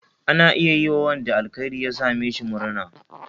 Ana iya yiwa wanda alkhairi ya same shi murna.